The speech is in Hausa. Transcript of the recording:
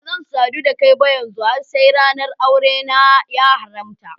Bazan sadu da kai ba yanzu har sai ranar daran aure na ya haramta.